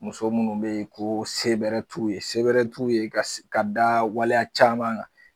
Muso munnu be yen ko se bɛrɛ t'u ye, se bɛrɛ t'u ye ka da waleya caman gan